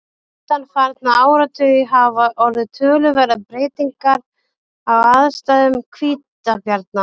undanfarna áratugi hafa orðið töluverðar breytingar á aðstæðum hvítabjarna